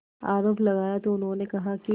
आरोप लगाया तो उन्होंने कहा कि